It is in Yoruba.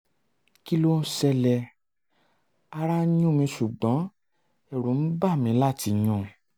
kí ló ń ṣẹlẹ̀? ara ń yún mi ṣùgbọ́n ẹ̀rù ń bà mí láti yún un